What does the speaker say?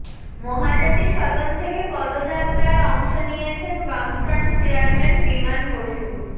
মহাজাতি সদন থেকে পদযাত্রায় অংশ নিয়েছেন বামফ্রন্ট চেয়ারম্যান বিমান বসু